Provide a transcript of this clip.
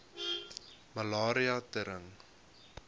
malaria tering